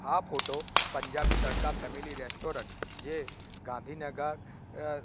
આ photo Punjabi Tadka family restaurant જે ગાંધીનગર અ--